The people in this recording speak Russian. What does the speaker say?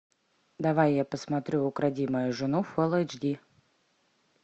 давай я посмотрю укради мою жену фул эйч ди